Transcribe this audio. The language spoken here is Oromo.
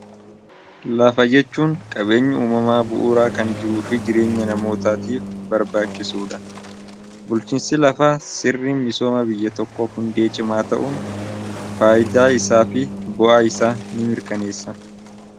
lafa jechuun qabeenyi uumamaa bu'uuraa kan jiruu fi jireenya namootaatiif barbaachisuudha bulchinsi lafaa sirri misooma biyya tokko hundee cimaa ta'uun faayidaa isaa fi bo'a isa ni mirkaneessa